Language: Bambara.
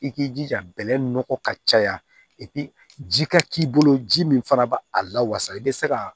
I k'i jija bɛlɛ nɔgɔ ka caya ji ka k'i bolo ji min fana b' a la wasa i bɛ se ka